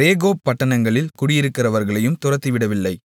ரேகோப் பட்டணங்களில் குடியிருக்கிறவர்களையும் துரத்திவிடவில்லை